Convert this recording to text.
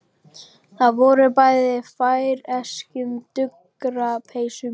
Þau voru bæði í færeyskum duggarapeysum.